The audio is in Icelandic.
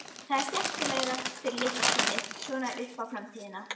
Það er skemmtilegra fyrir litla skinnið, svona upp á framtíðina.